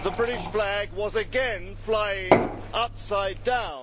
The British flag was again flying upside down.